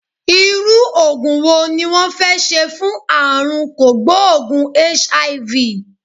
Irú Ògùn wo ni wón fẹ́ ṣe fún àrùn kògbóògùn HIV?